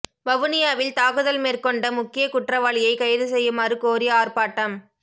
வவுனியாவில் தாக்குதல் மேற்கொண்ட முக்கிய குற்றவாளியை கைது செய்யுமாறு கோரி ஆர்ப்பாட்டம்